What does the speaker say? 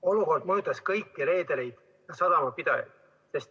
Olukord on mõjutanud kõiki reedereid ja sadamapidajaid.